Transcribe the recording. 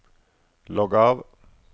logg av